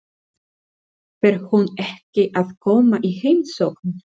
Fer hún ekki að koma í heimsókn?